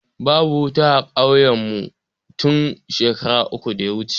Babu wuta a kauyen mu tun shekara uku da ya wuce